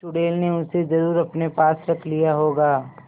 चुड़ैल ने उसे जरुर अपने पास रख लिया होगा